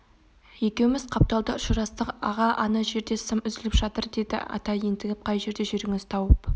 екеуіміз қапталда ұшырастық аға ана жерде сым үзіліп жатыр деді ата ентігіп қай жерде жүріңіз тауып